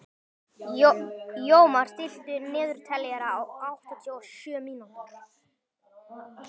Jómar, stilltu niðurteljara á áttatíu og sjö mínútur.